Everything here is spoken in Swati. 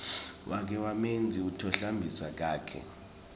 make wamenzi u tohlambisa kakhe